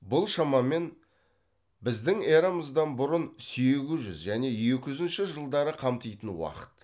бұл шамамен біздің эрамыздан бұрын сегіз жүз және екі жүзінші жылдары қамтитын уақыт